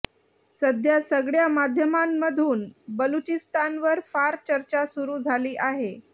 सध्या सगळ्या माध्यमांमधून बलुचिस्तानवर फार चर्चा सुरू झाली आहे